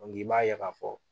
i b'a ye k'a fɔ